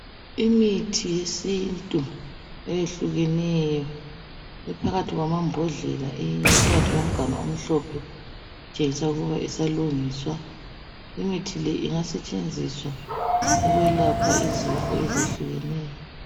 Imithi yesintu eyehlukeneyo iphakathi kwamambodlela eyinye iphakathi komganu omhlophe itshengisa ukuba isalungiswa, imithi le ingasetshenziswa ukwelapha izifo ezehlukeneyo.